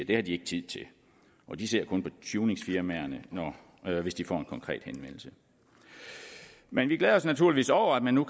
det har de ikke tid til og de ser kun på tuningsfirmaerne hvis de får en konkret henvendelse men vi glæder os naturligvis over at man nu